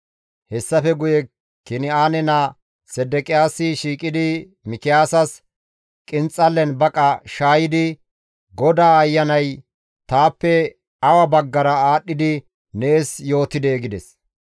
Hessafe guye Kin7aane naa Sedeqiyaasi shiiqidi Mikiyaasas qinxallen baqa shaayidi, «GODAA Ayanay taappe awa baggara aadhdhidi nees yootidee?» gides.